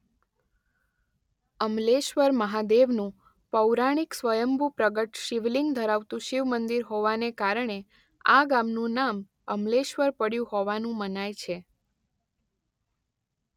અમલેશ્વર મહાદેવનુ પૌરાણિક સ્વયંભૂ પ્રગટ શિવલિંગ ધરાવતુ શિવમંદિર હોવાને કારણે આ ગામનુ નામ અમલેશ્વર પડ્યુ હોવાનું મનાય છે.